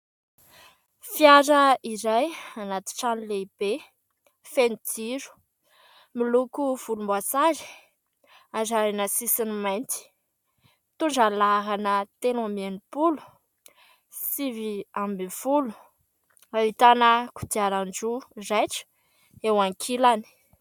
Fiara iray anaty trano lehibe feno jiro, miloko volomboasary arahina sisiny mainty. Mitondra ny laharana telo amby enimpolo sivy ambin'ny folo. Ahitana kodiarandroa raitra eo ankilany.